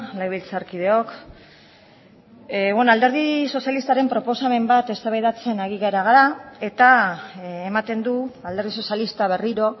legebiltzarkideok alderdi sozialistaren proposamen bat eztabaidatzen ari gara eta ematen du alderdi sozialista berriro